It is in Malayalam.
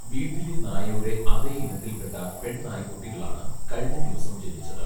വീട്ടിലെ നായയുടെ അതേ ഇനത്തിൽപ്പെട്ട പെൺനായ്ക്കുട്ടികളാണ് കഴിഞ്ഞ ദിവസം ജനിച്ചത്